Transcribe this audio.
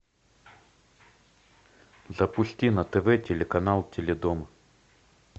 запусти на тв телеканал теледом